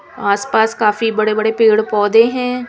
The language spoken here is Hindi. आस-पास काफी बड़े-बड़े पेड़-पौधे हैं.